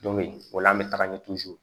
Don bɛ yen o la an bɛ taga ɲɛ